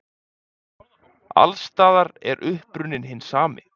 Alls staðar er uppruninn hinn sami.